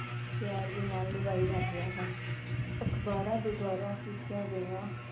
ਪਿਆਰ ਦੇ ਨਾਲ ਨਿਭਾਏ ਜਾਂਦੇ ਹਨ । ਅਖ਼ਬਾਰਾਂ ਦੇ ਦੁਆਰਾ ਕੀਤੀਆ ਗਈਆ